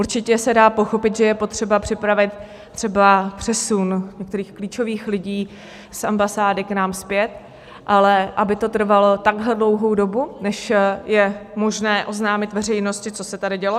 Určitě se dá pochopit, že je potřeba připravit třeba přesun některých klíčových lidí z ambasády k nám zpět, ale aby to trvalo takhle dlouhou dobu, než je možné oznámit veřejnosti, co se tady dělo?